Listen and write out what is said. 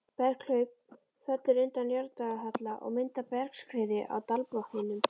Berghlaup fellur undan jarðlagahalla og myndar bergskriðu á dalbotninum.